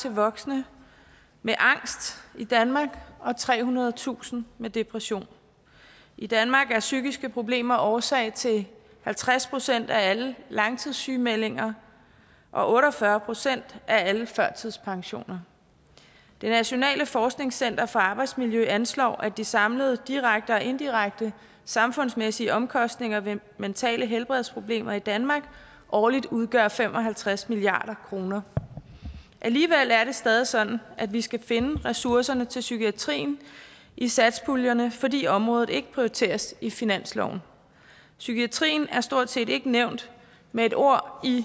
og voksne med angst i danmark og trehundredetusind med depression i danmark er psykiske problemer årsag til halvtreds procent af alle langtidssygemeldinger og otte og fyrre procent af alle førtidspensioner det nationale forskningscenter for arbejdsmiljø anslår at de samlede direkte og indirekte samfundsmæssige omkostninger ved mentale helbredsproblemer i danmark årligt udgør fem og halvtreds milliard kroner alligevel er det stadig sådan at vi skal finde ressourcerne til psykiatrien i satspuljerne fordi området ikke prioriteres i finansloven psykiatrien er stort set ikke nævnt med et ord i